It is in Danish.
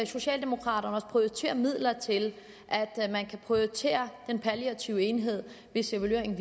socialdemokraterne også prioritere midler til den palliative enhed hvis evalueringen